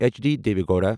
H D Deve Gowda